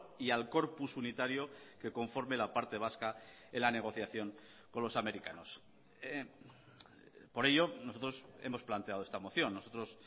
y al corpus unitario que conforme la parte vasca en la negociación con los americanos por ello nosotros hemos planteado esta moción nosotros